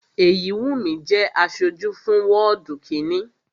Èyíwùnmí jẹ́ aṣojú fún wọ́ọ̀dù kínni